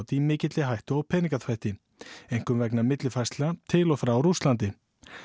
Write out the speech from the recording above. í mikilli hættu á peningaþvætti einkum vegna millifærslna til og frá Rússlandi